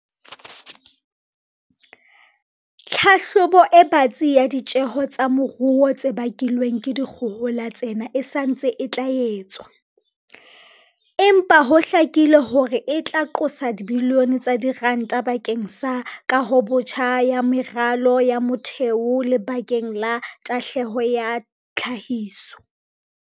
"Tlhahlobo e batsi ya ditjeho tsa moruo tse bakilweng ke dikgohola tsena e sa ntse e tla etswa, empa ho hlakile hore e tla qosa dibilione tsa diranta ba keng sa kahobotjha ya meralo ya motheo le bakeng la tahlehelo ya tlhahiso."